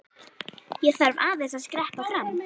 Ég þarf aðeins að skreppa fram.